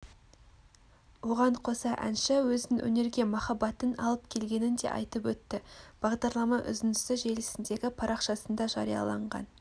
оған қоса әнші өзін өнерге махаббатын алып келгенін де айтып өтті бағдарлама үзіндісі желісіндегі парақшасында жарияланған